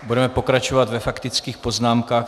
Budeme pokračovat ve faktických poznámkách.